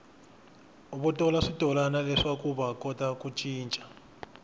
votala switolani leswakuva kota ku cica